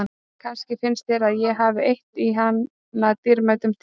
Kannski finnst þér að ég hafi eytt í hana dýrmætum tíma.